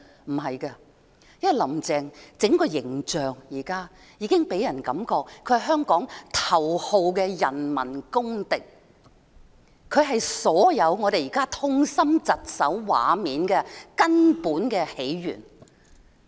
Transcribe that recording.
不是的，因為"林鄭"現時的整個形象予人感覺，她是香港頭號的人民公敵，她是所有現時我們看到的痛心疾首畫面的根本起源。